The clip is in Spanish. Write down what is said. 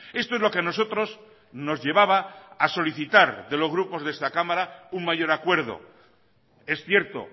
esto es lo que a nosotros nos llevaba a solicitar de los grupos de esta cámara un mayor acuerdo es cierto